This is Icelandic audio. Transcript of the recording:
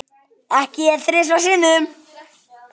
Ekki ég þrisvar sinnum.